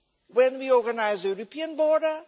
when we organise the European border.